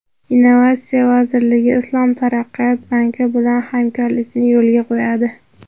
Innovatsiya vazirligi Islom taraqqiyot banki bilan hamkorlikni yo‘lga qo‘yadi.